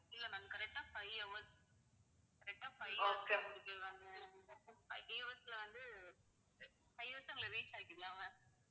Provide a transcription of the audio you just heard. இல்லை ma'am, correct ஆ five hours, correct ஆ five hours ல கொண்டு போயிருவாங்க five hours ல வந்து five hours ல உங்களை reach ஆக்கிடலாம் ma'am